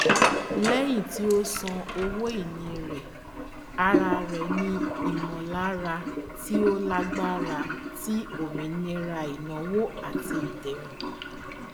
lẹyìn tí ó san owóìní rẹ ara rẹ ní ìmọlára tí ó lágbára ti òmìnira ìnáwó àti ìdérùn